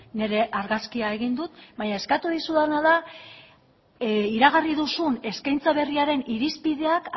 nire argazkia egin dut baina eskatu dizudana da iragarri duzun eskaintza berriaren irizpideak